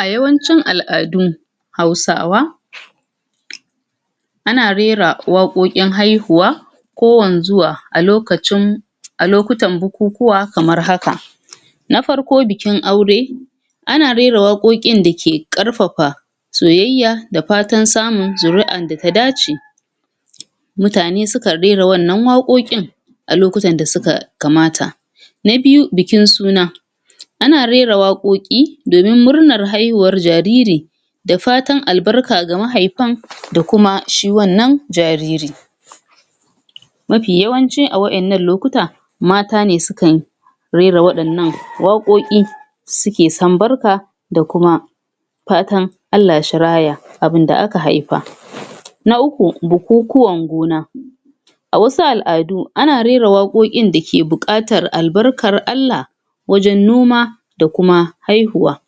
a yawancin al'adun hausawa ana rera waƙoƙin haihuwa ko wanzuwa alokacin alokutan bu kukuwa kamar haka na farko bikin aure ana rera woƙoƙkinn dake kƙarfa fa soyayya da fatan samun zuri'an da ta dace mutane sukan rera wannan waƙaƙokin a lokutan da suka kamata na biyu bikin suna ana rera wa ƙoƙi ƙoƙi donin murnar haihuwan jariri da fatan albarka ga mahifan da kuma shi wannan jariri mafi yawanci a waƴannan lokuta mata ne sukan rera waƴannan waƙoƙi suke sam barka da kuma fatan ALLAH shi raya abun da aka haifa na uku bukukuwan gona a wasu al'adu ana rera waƙoƙin dake batar al'barkar ALLAH wajan noma da kuma haihuwa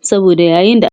saboda yayinda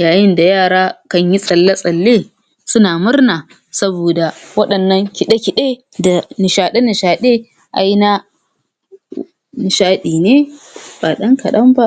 yayinda yara kanyi tsalle tsalle suna murna saboda waɗannan kiɗe kiɗe da da nishaɗe nishaɗe aina nishaɗi ne ba ɗan kaɗan ba